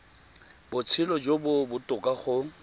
botshelo jo bo botoka go